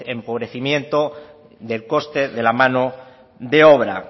empobrecimiento del coste de la mano de obra